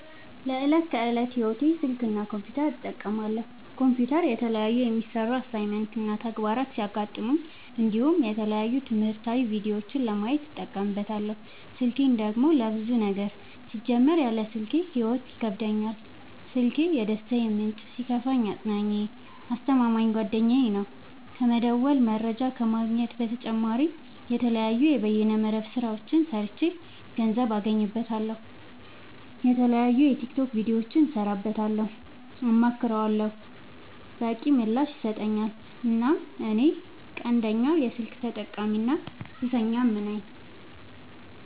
ለዕት ከዕለት ህይወቴ ስልክ እና ኮምፒውተር እጠቀማለሁ። ኮምፒውተር የተለያዩ የሚሰሩ አሳይመንት እና ተግባራት ሲገጥሙኝ እንዲሁም የተለያዩ ትምህርታዊ ቪዲዮዎችን ለማየት እጠቀምበታለው። ስልኬን ደግሞ ለብዙ ነገር ሲጀመር ያለ ስልኬ ህይወት ይከብደኛል። ስልኪ የደስታዬ ምንጭ ሲከፋኝ አፅናኜ አስተማማኝ ጓደኛዬ ነው። ከመደወል መረጃ ከመግኘት በተጨማሪ የተለያዩ የበይነ መረብ ስራዎችን ሰርቼ ገንዘብ አገኝበታለሁ። የተለያዩ የቲክቶክ ቪዲዮዎችን እሰራበታለሁ አማክረዋለሁ። በቂ ምላሽ ይሰጠኛል እናም እኔ ቀንደኛ የስልክ ተጠቀሚና ሱሰኛም ነኝ።